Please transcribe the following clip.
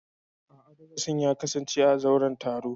A'a, darasin ya kasance a zauren taro.